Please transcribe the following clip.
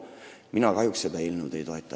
" Mina kahjuks seda eelnõu ei toeta.